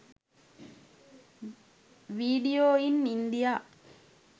video in india